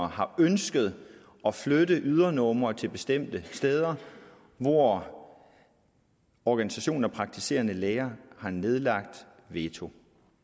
har ønsket at flytte ydernumre til bestemte steder hvor organisationer og praktiserende læger har nedlagt veto